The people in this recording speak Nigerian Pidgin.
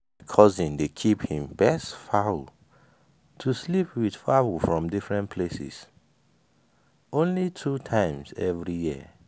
cousin dey keep him best fowl to sleep with fowl from different places only two times everyday year.